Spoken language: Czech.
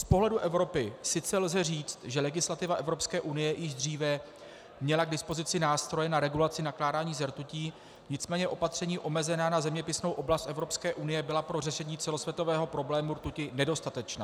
Z pohledu Evropy sice lze říci, že legislativa Evropské unie již dříve měla k dispozici nástroje na regulaci nakládání se rtutí, nicméně opatření omezená na zeměpisnou oblast Evropské unie byla pro řešení celosvětového problému rtuti nedostatečná.